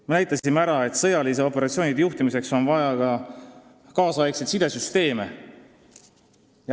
Me näitasime ära, et sõjaliste operatsioonide juhtimiseks on vaja ajakohaseid sidesüsteeme.